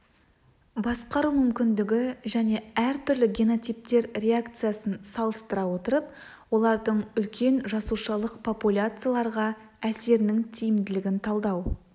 басқару мүмкіндігі және әртүрлі генотиптер реакциясын салыстыра отырып олардың үлкен жасушалық популяцияларға әсерінің тиімділігін талдау